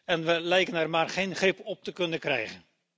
En we lijken er maar geen grip op te kunnen krijgen.